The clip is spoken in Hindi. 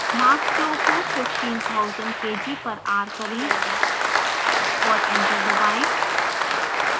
mass flow को 15000 kg per hour करें और enter दबाएँ